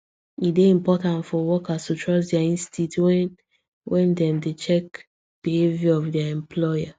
e dey important for workers to trust dia instincts when when dem dey check behaviour of dia employer